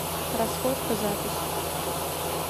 расходка запись